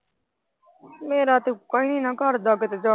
ਮੇਰਾ ਤੇ ਉੱਕਾ ਈ ਨਹੀਂ ਨਾ ਕਰਦਾ ਕੀਤੇ ਜਾਣ ਨੂੰ।